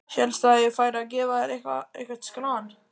Hélstu að ég færi að gefa þér eitthvert skran?